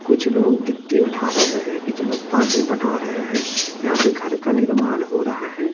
कुछ लोग गिट्टी उठा रहे हैं कुछ लोग पानी पटा रहे हैं यहां पे घर का निर्माण हो रहा है।